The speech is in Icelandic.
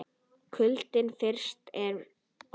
Kuldinn frystir orð mín.